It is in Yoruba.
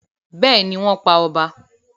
Bẹ́ẹ̀ni, wọ́n pa ọba.